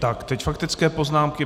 Tak teď faktické poznámky.